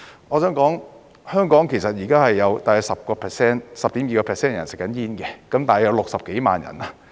我想說，香港現時大約有 10.2% 的人吸煙，大約有60幾萬人。